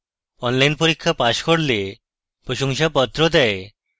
online পরীক্ষা pass করলে প্রশংসাপত্র দেয়